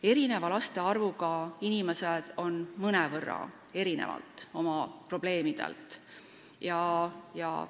Erineva laste arvuga inimesed erinevad mõnevõrra oma probleemide poolest.